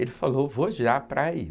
Ele falou, vou já para aí.